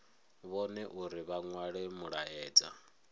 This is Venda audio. vhone uri vha nwale mulaedza